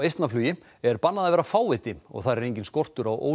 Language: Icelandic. Eistnaflugi er bannað að vera fáviti og þar er enginn skortur á